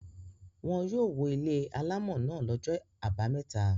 Wọn yóò wó ilé alámọ̀ náà lọ́jọ́ àbámẹ́ta.